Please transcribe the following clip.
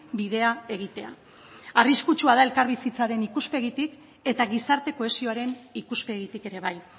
bidea egitea arriskutsua da elkarbizitzaren ikuspegitik eta gizarte kohesioaren ikuspegitik ere bai